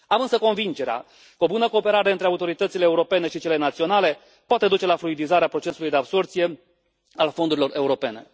Am însă convingerea că o bună cooperare între autoritățile europene și cele naționale poate duce la fluidizarea procesului de absorbție a fondurilor europene.